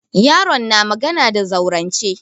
Yaron na magana da zaurance.